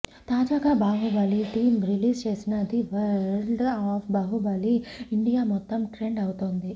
తాజాగా Baahubali team release చేసిన the world of Baahubali India మొత్తం ట్రెండ్ అవుతోంది